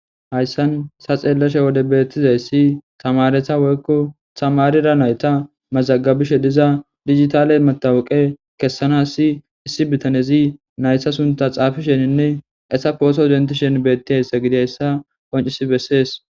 Hayssan ta xelliza wode bettizayssi tameretsa woyko tamara naytta mazagsbishe diza dijjitale matawaqa kesanas issi bittanezi nayta sunththa xaffishenne asa pohoto denththishe betizaysa gididaysa qonccisi beses.